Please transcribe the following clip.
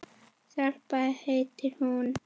Stella heitir hún.